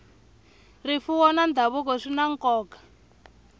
rifuwo na ndhavuko swi na nkoka